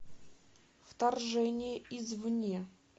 вторжение извне